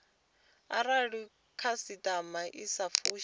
arali khasitama i sa fushi